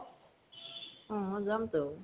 অহ যামতো